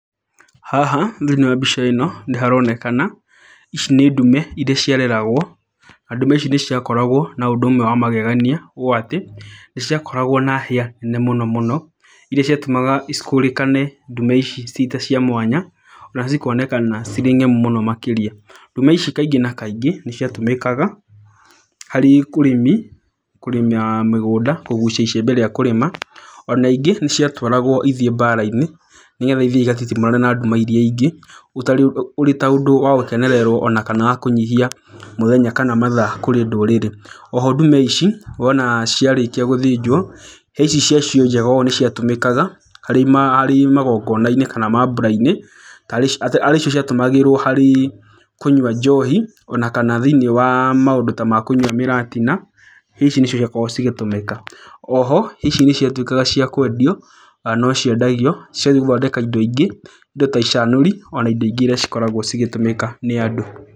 Haha thĩiniĩ wa mbica ĩno nĩ haronekana ici nĩ ndume irĩa ciareragwo. Na ndume ici nĩ ciakoragwo na ũndũ ũmwe wa magegania ũũ atĩ, nĩ ciakoragwo na hĩa nene mũno mũno, irĩa ciatũmaga cikũrĩkane ndume ici ciĩ ta mwanya, na cikonekana cirĩ ngemu mũno makĩria. Ndume ici kaingĩ na kaingĩ nĩ ciatũmĩkaga harĩ ũrĩmi, kũrĩma mĩgũnda, kũgucia icembe rĩa kũrĩma, ona ingĩ nĩ ciatwaragwo ithiĩ mbara-inĩ nĩgetha itiĩ cigatitimũrane na ndume irĩa ingĩ, ũrĩ ta ũndũ wa gũkenererwo kana wa kũnyihia mũthenya kana mathaa kũrĩ ndũrĩrĩ. O ho ndume ici wona ciarĩkia gũthĩnjwo, he ici ciacio njega ũũ nĩ ciatũmĩkaga harĩ magongona-inĩ kana mambũra-inĩ, harĩ cio ciatũmagĩrwo harĩ kũnyua njohi ona kana thĩiniĩ wa maũndũ ta ma kũnyua mĩratina. Ici nĩcio igakorwo cigĩtũmĩka. O ho ici nĩ ciatuĩkaga cia kwendio, no ciendagio cigathiĩ gũthondeka indo ingĩ, indo ta icanũri ona indo ingĩ irĩa cikoragwo cigĩtũmĩka nĩ andũ.